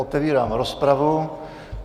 Otevírám rozpravu.